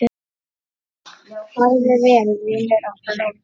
Farðu vel, vinur og bróðir!